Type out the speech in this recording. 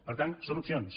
per tant són opcions